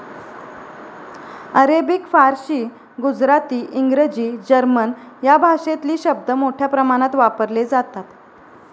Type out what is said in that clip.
Arabic फारशी गुजराती इंग्रजी German या भाषेतली शब्द मोठ्या प्रमाणात वापरले जातात